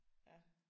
Ja